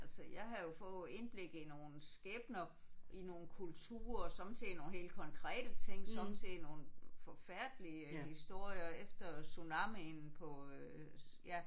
Altså jeg havde jo fået indblik i nogle skæbner i nogle kulturer sommetider i nogle helt konkrete ting sommetider i nogle forfærdelige historier efter tsunamien på øh ja